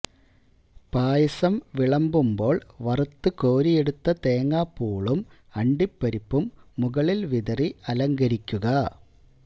പായസം വിളമ്പുമ്പോള് വറുത്ത് കോരിയെടുത്ത തേങ്ങാപ്പുളും അണ്ടിപരിപ്പും മുകളില് വിതറി അലങ്കരിക്കുക